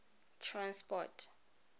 transport